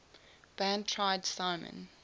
band tried simon